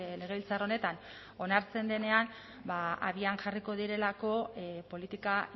legebiltzar honetan onartzen denean abian jarriko direlako politika